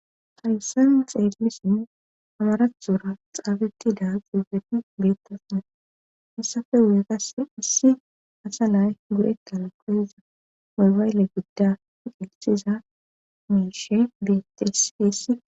Hayssan xeelilisinn amaratora xaabettida xubeti beettosne hessafe wu7egasse issi asa nay gudekkala koeza moybaylle gidda fiqeqsiza miishe biettesfeessi.